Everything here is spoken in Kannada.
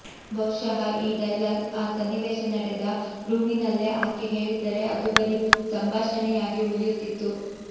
ಬಹುಶಃ ಈ ಡೈಲಾಗ್ ಆ ಸನ್ನಿವೇಶ ನೆಡೆದ ರೂಮಿನಲ್ಲೇ ಆಕೆ ಹೇಳಿದ್ದರೆ ಅದು ಬರೀ ಸಂಭಾಷಣೆಯಾಗಿ ಉಳಿಯುತ್ತಿತ್ತು